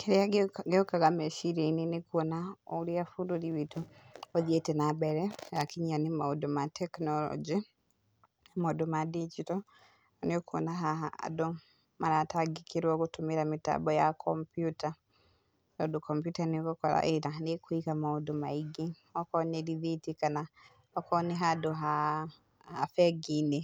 Kĩrĩa gĩũkaga meciria-inĩ nĩ kuona, ũrĩa bũrũri witũ ũthiĩte na mbere hakinya nĩ maũndũ ma tekinoronjĩ, maũndũ ma ndinjito, na nĩ ũkwona haha andũ maratangĩkĩrwo gũtũmĩra mĩtambo ya kompiuta, tondũ kompiuta nĩ ũgũkora ĩna nĩ ĩkũiga maũndũ, okorwo nĩ rithiti kana okorwo nĩ handũ ha ha bengi-inĩ